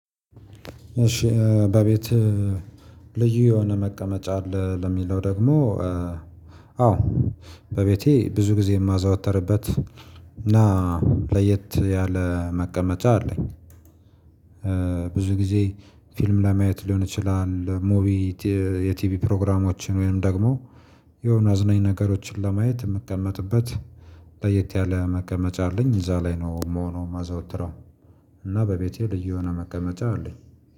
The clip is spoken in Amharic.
እሺ በቤት ልዩ የሆነ መቀመጫ አለ ለሚለው ደግሞ? አዎ በቤቴ ብዙ ጊዜ የማዘውተርበት እና ለየት ያለ መቀመጫ አለኝ። ብዙ ጊዜ ፊልም ለማየት ሊሆን ይችላል ለሙቪ የቲቪ ፕሮግራሞችን ወይም ደግሞ የሆነ አዝናኝ ነገሮችን ለማየት የምቀመጥበት። ለየት ያለ መቀመጫ አለኝ እዛ ላይ ነው የምሆነው ማዘወትረው። እና በቤቴ ልዩ የሆነ መቀመጫ አለኝ